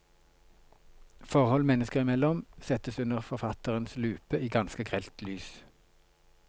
Forhold mennesker imellom settes under forfatterens lupe i ganske grelt lys.